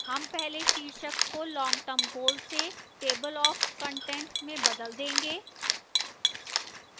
term पहले शीर्षक को long term goal से table of contents में बदल change